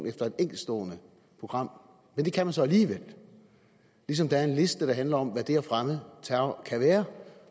efter et enkeltstående program men det kan man så alligevel ligesom der er en liste der handler om hvad det at fremme terror kan være